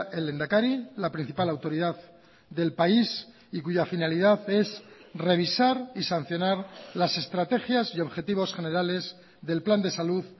el lehendakari la principal autoridad del país y cuya finalidad es revisar y sancionar las estrategias y objetivos generales del plan de salud